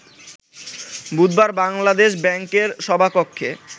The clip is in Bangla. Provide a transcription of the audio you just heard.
বুধবার বাংলাদেশ ব্যাংকের সভাকক্ষে